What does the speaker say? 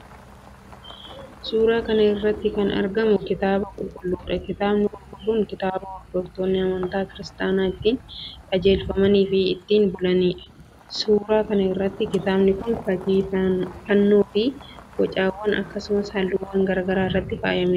Suuraa kana irratti kan argamu Kitaaba Qulqulluudha. Kitaabni Qulqulluun kitaaba hordoftoonni amantaa Kiristaanaa ittiin qajeelfamaniifi ittiin bulaniidha. Suuraa kana irrattis kitaabni kun fakkii fannoofi bocawwan, akkasumas halluuwwan garaa garaatiin faayamee argama.